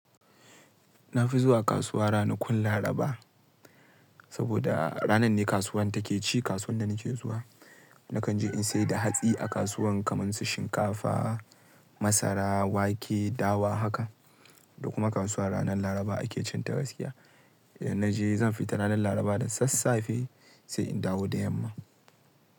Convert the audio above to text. Na fi zuwa kasuwa ranakun Laraba, saboda ranan ne kasuwan take ci, kasuwan da nake zuwa. Nakan je in sayar da hatsi a kasuwan kamar su shinkafa, masara, wake, dawa haka. Da kuma kasuwa ranar Laraba ake cin ta gaskiya. Idan na je zan fita ranar Laraba da sassafe sai in dawo da yamma.